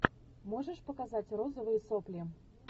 можешь показать розовые сопли